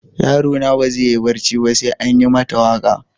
Yaro na ba zai yi barci ba sai an yi mata waka.